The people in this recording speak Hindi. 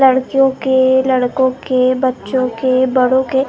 लड़कियों के लड़कों के बच्चों के बड़ों के हर।